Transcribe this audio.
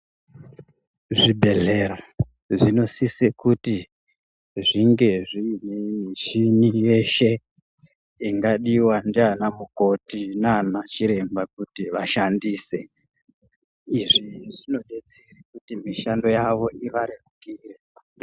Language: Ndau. Zvibhehlera zvinosise kuti zvinge zviine mishini yeshe ingadiwe ndiana mukoti naachiremba kuti vashandise izvi zvinodetsere kuti mishando yavo ivarerukire.